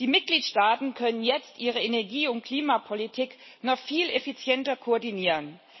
Die Mitgliedstaaten können jetzt ihre Energie und Klimapolitik noch viel effizienter koordinieren.